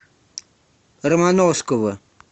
романовского